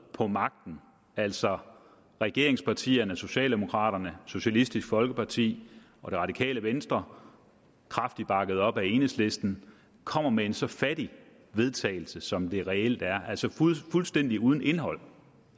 på magten altså regeringspartierne socialdemokraterne socialistisk folkeparti og det radikale venstre kraftigt bakket op af enhedslisten kommer med en så fattig vedtagelse som det reelt er altså fuldstændig uden indhold